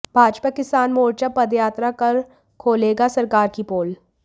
भाजपा किसान मोर्चा पदयात्रा कर खोलेगा सरकार की पोल